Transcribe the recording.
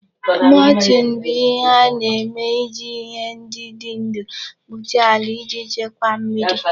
Mulching bụ ihe a na-eme iji ihe ndị dị ndụ kpuchie ala iji chekwaa mmiri.